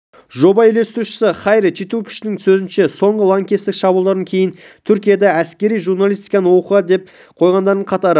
жоба үйлестірушісі хайри четинкуштың сөзінше соңғы лаңкестік шабуылдардан кейін түркияда әскери журналистиканы оқуға ден қойғандардың қатары